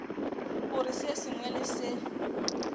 gore se sengwe le se